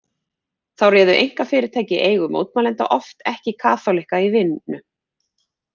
Þá réðu einkafyrirtæki í eigu mótmælenda oft ekki kaþólikka í vinnu.